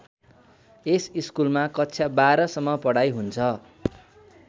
यस स्कुलमा कक्षा १२ सम्म पढाइ हुन्छ।